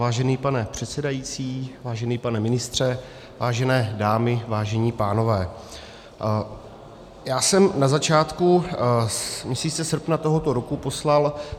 Vážený pane předsedající, vážený pane ministře, vážené dámy, vážení pánové, já jsem na začátku měsíce srpna tohoto roku poslal -